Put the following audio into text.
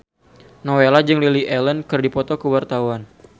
Nowela jeung Lily Allen keur dipoto ku wartawan